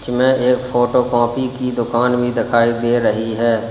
में एक photocopy की दुकान भी दिखाई दे रही है।